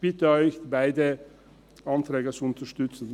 Ich bitte Sie, beide Anträge zu unterstützen.